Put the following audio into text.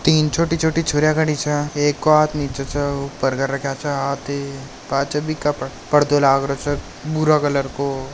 तीन छोटी छोटी छोरियों खड़ी छे एक को हाथ नीचे छे उपर कर रखा च हाथ पाछे बि के पर्दों लाग रो छे भूरे कलर को।